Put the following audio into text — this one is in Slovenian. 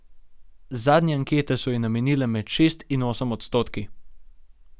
Zadnje ankete so ji namerile med šest in osem odstotki.